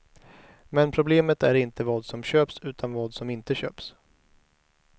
Men problemet är inte vad som köps, utan vad som inte köps.